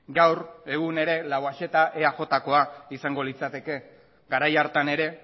gaur egun ere lauaxeta eajkoa izango litzateke garai hartan ere